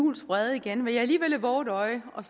juhls vrede igen vil jeg alligevel vove et øje og